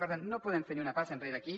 per tant no podem fer ni una passa enrere aquí